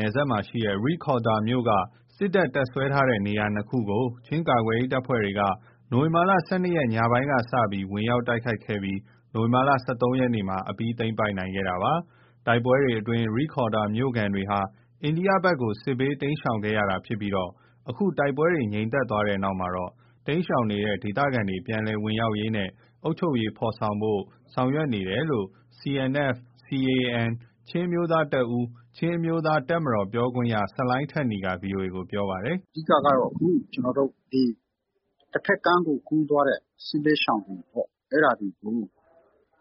နယ်စပ်မှာရှိတဲ့ ရိဒ်ခေါ်ဒါရ်မြို့က စစ်တပ် တပ်စွဲထားတဲ့နေရာ ၂ ခုကို ချင်းကာကွယ်ရေး တပ်ဖွဲ့တွေက နိုဝင်ဘာ ၁၂ ရက် ညပိုင်းကစလို့ ဝင်ရောက်တိုက်ခိုက်ခဲ့ပြီး နိုဝင်ဘာ ၁၃ ရက်မှာ အပြီးသိမ်းပိုက်နိုင်ခဲ့တာပါ။ တိုက်ပွဲတွေအတွင်း ရိခေါ်ဒါရ်မြို့ခံတွေဟာ အိန္ဒိယဘက်ကို စစ်ဘေးတိမ်းရှောင်ခဲ့ရတာ ဖြစ်ပြီး အခု တိုက်ပွဲတွေ ငြိမ်သက်သွားတဲ့နောက်မှာ တိမ်းရှောင်နေတဲ့ ဒေသခံတွေ ပြန်လည်ဝင်ရောက်ရေးနဲ့ အုပ်ချုပ်ရေး ဖော်ဆောင်ဖို့ ဆောင်ရွက်နေတယ်လို့ CNF–CNA ချင်းအမျိုးသားတပ်ဦး-ချင်းအမျိုးသားတပ်မတော် ပြောခွင့်ရ ဆလိုင်းထက်နီက ဗွီအိုအေကို ပြောပါတယ်။ “အဓိကကတော့ တဖက်ကမ်းကိုကူးသွားတဲ့ စစ်ဘေးရှောင်တွေပေါ့။ အဲ့ဒါတွေကို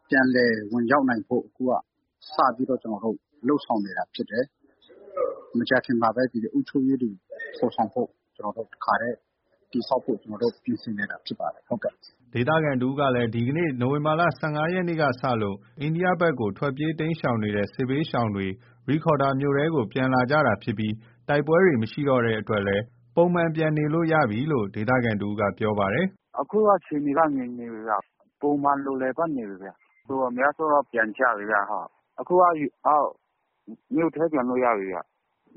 ပြန်လည်ဝင်ရောက်ဖို့ စတင်လုပ်ဆောင်နေတာဖြစ်တယ်။ မကြာခင်မှာပဲ အုပ်ချုပ်ရေးတွေ ဖော်ဆောင်ဖို့ တခါတည်း တည်ဆောက်ဖို့ ပြင်ဆင်နေတာဖြစ်ပါတယ်။” ဒေသခံတဦးကလည်း ဒီကနေ့ နိုဝင်ဘာ ၁၅ ရက်ကစလို့ အိန္ဒိယဘက် ထွက်ပြေးတိမ်းရှောင်နေတဲ့ စစ်ဘေးရှောင်တွေ ရိခေါ်ဒါရ်မြို့ထဲကို ပြန်လာကြတာဖြစ်ပြီး တိုက်ပွဲတွေ မရှိတော့တဲ့အတွက် ပုံမှန်ပြန်နေလို့ရပြီလို့ ပြောပါတယ်။ “အခုက အခြေအနေက ငြိမ်နေပြီခင်ဗျ။ ပုံမှန်လို လည်ပတ်နေပြီခင်ဗျ။ အများစုက ပြန်ကြပြီ။ အခုက မြို့ထဲပြန်လို့ရပြီခင်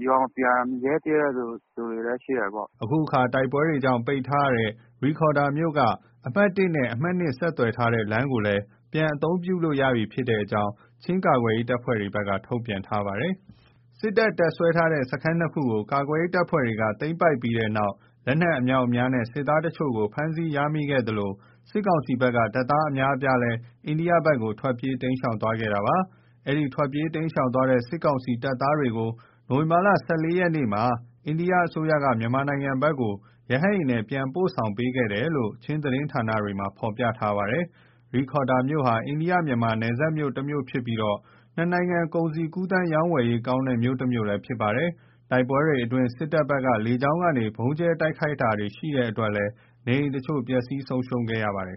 ဗျ။ ရွာမပြန်ရဲ သေးတဲ့သူတွေလည်းရှိတယ်ပေါ့။” အခုအခါမှာ တိုက်ပွဲကြောင့် ပိတ်ထားတဲ့ ရိခေါ်ဒါရ်မြို့က အမှတ် နဲ့ အမှတ် ဆက်သွယ်ထားတဲ့ လမ်းကို ပြန်လည်အသုံးပြုလို့ရပြီဖြစ်တဲ့ အကြောင်းလည်း ချင်းကာကွယ်ရေးတပ်ဖွဲ့တွေဘက်က ထုတ်ပြန်ထားပါတယ်။ စစ်တပ် တပ်စွဲထားတဲ့ စခန်း ၂ ခုကို ကာကွယ်ရေး တပ်ဖွဲ့တွေက သိမ်းပိုက်ရရှိခဲ့ပြီးတဲ့နောက် လက်နက် အမြောက်အများနဲ့ စစ်သား တချို့ကို ဖမ်းဆီးရမိခဲ့သလို စစ်ကောင်စီဘက်က တပ်သား အများအပြားလည်း အိန္ဒိယဘက်ကို ထွက်ပြေးတိမ်းရှောင်သွားခဲ့တာပါ။ ဒီထွက်ပြေးတိမ်းရှောင်သွားတဲ့ စစ်ကောင်စီ တပ်သားတွေကို နိုဝင်ဘာ ၁၄ ရက်မှာ အိန္ဒိယ အစိုးရက မြန်မာနိုင်ငံဘက်ကို ရဟတ်ယာဉ်နဲ့ ပြန်လည်ပို့ဆောင်ပေးခဲ့တယ်လို့ ချင်းသတင်းဌာနတွေမှာ ဖော်ပြထားပါတယ်။ ရိခေါ်ဒါရ်မြို့ဟာ မြန်မာ-အိန္ဒိယ နယ်စပ်မြို့တမြို့ဖြစ်ပြီး ၂ နိုင်ငံ ကုန်စည်ကူးသန်းရောင်းဝယ်ရေး ကောင်းတဲ့ မြို့တမြို့လည်းဖြစ်ပါတယ်။ တိုက်ပွဲတွေ အတွင်း စစ်တပ်ဘက်က လေကြောင်းကနေ ဗုံးကြဲ တိုက်ခိုက်တာတွေ ရှိတဲ့အတွက် နေအိမ်အချို့လည်း ပျက်စီးဆုံးရှုံးခဲ့ရပါတယ်